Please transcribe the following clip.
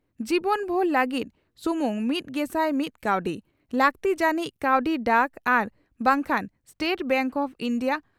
ᱡᱤᱵᱚᱱᱵᱷᱩᱨ ᱞᱟᱹᱜᱤᱫᱥᱩᱢᱩᱝ ᱢᱤᱛᱜᱮᱥᱟᱭ ᱢᱤᱛ ᱠᱟᱣᱰᱤ ᱾ᱞᱟᱹᱠᱛᱤ ᱡᱟᱹᱱᱤᱡ ᱠᱟᱹᱣᱰᱤ ᱰᱟᱠ ᱟᱨ ᱵᱟᱝ ᱠᱷᱟᱱ ᱥᱴᱮᱴ ᱵᱮᱝᱠ ᱚᱯᱷ ᱤᱱᱰᱤᱭᱟ